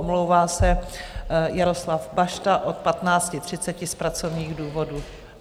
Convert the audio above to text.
Omlouvá se Jaroslav Bašta od 15.30 z pracovních důvodů.